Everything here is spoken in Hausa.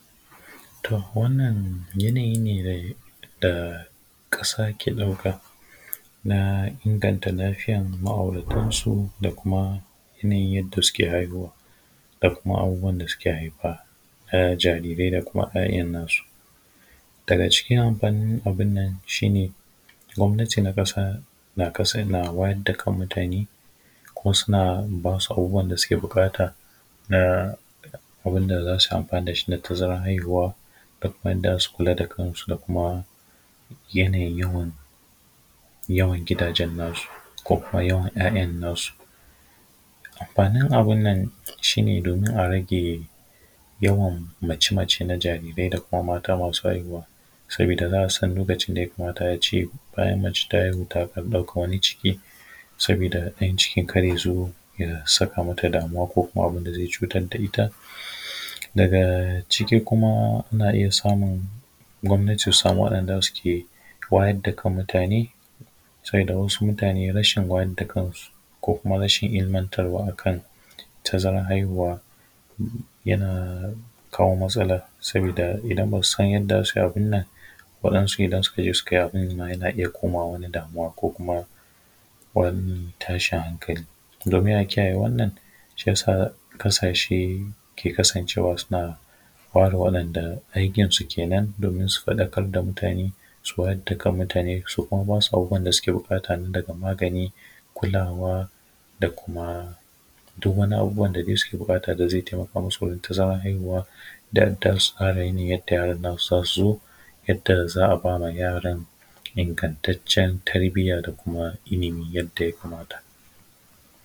To wannan hanayi ne um da ƙasa ke ɗuka na inganta lafiyan ma’auratansu da kuma yana yin yadda suke haihuwa da kuma abubuwan da suke haifa na jarirai da kuma ‘ya’yan nasu daga cikin anfanin abin nan shine gwamnati na ƙasa na ka na wayar da kan mutane, ko suna ba su abubuwan da suke buƙata na um abin da za su anfana da shi na tazaran haihuwa da kuma yanda za su kula da kansu da kuma yanayin yawan gidajen nasu ko kuma yawan ‘ya’yan nasu. Amfanin abin nan shi ne domin a rage yawan mace-mace na jarirai da kuma mata masu haihuwa, sabida za a san lokacin da ya kamata a ce um mace ta haihu takan ɗauka wani cikin sabida ɗan cikin kar ya zubo, ya sa kamata damuwa ko abin da zai cutar da ita daga ciki kuma ana iya samun gwamnati ta samu wa’yanda suke wayar da kan mutane. Sabida wasu mutane rashin wayar da kansu ko kuma rashin ilmantarwa akan tazaran haihuwa, yana kawo matsala sabida idan ba su san yanda za su abin nan wadansu idan suka je sukayi abin yana iya komawa wani damuwa ko kuma wani tashin hankali domin a kiyaye wannan, shi ya sa ƙasashe ke kasancewa suna kenan domin su faɗakar da mutane su wayar da kan mutane su kuma basu abubuwan da suke buƙata na daga magani, kulawa da kuma duk wani abubuwan da suke buƙata da zai taimaka musu wurin tazaran haihuwa dan yadda yaran nasu za su zo yadda za a ba ma yaran ingantaccen tarbiyya da kuma ilimi yadda ya kamata.